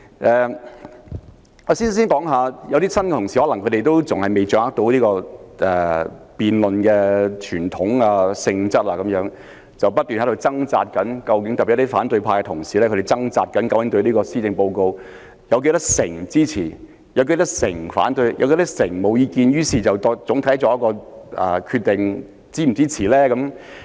一些新同事可能仍未能掌握立法會辯論的傳統和性質，不斷在掙扎，特別是反對派的同事，他們竭力指出對特首的施政報告表示支持、反對及沒有意見的人數比例，然後作出整體上是否支持的決定。